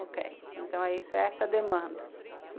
Ok, então é isso, é essa a demanda.